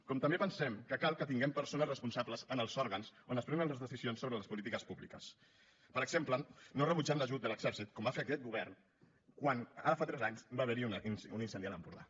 com també pensem que cal que tinguem persones responsables en els òrgans on es prenen les decisions sobre les polítiques públiques per exemple que no rebutgin l’ajut de l’exèrcit com va fer aquest govern quan ara fa tres anys va haver hi un incendi a l’empordà